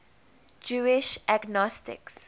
jewish agnostics